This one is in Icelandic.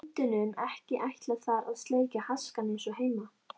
Hundunum ekki ætlað þar að sleikja askana eins og heima.